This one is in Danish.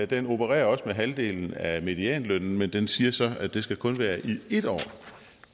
den opererer også med halvdelen af medianlønnen men den siger så at det kun skal være i en år